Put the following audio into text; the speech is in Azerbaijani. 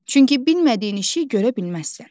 Çünki bilmədiyin işi görə bilməzsən.